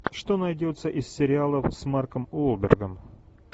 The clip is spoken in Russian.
что найдется из сериалов с марком уолбергом